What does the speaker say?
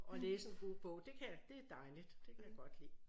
Og læse en god bog det kan jeg det dejligt det kan jeg godt lide